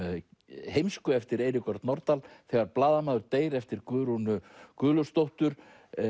heimsku eftir Eirík Örn Norðdahl þegar blaðamaður deyr eftir Guðrúnu Guðlaugsdóttur